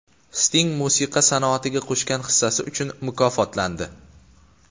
Sting musiqa sanoatiga qo‘shgan hissasi uchun mukofotlandi.